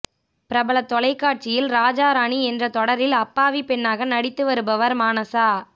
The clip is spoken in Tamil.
பிரபல தொலைக்காட்சியில் ராஜா ராணி என்ற தொடரில் அப்பாவி பெண்ணாக நடித்து வருபவர் மானசா